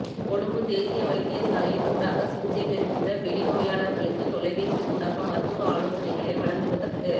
கொழும்பு தேசிய வைத்தியசாலையின் ஊடாக சிகிச்சை பெறுகின்ற வெளிநோயாளர்களுக்கு தொலைபேசி ஊடாக மருத்துவ ஆலோசனைகளை வழங்குவதற்கு